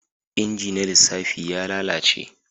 Inji na lissafi ya lalace